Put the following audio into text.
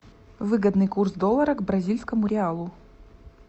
выгодный курс доллара к бразильскому реалу